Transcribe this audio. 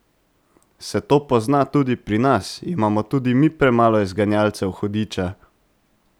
Se to pozna tudi pri nas, imamo tudi mi premalo izganjalcev hudiča?